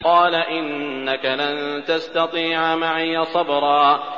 قَالَ إِنَّكَ لَن تَسْتَطِيعَ مَعِيَ صَبْرًا